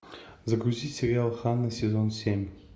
загрузи сериал ханна сезон семь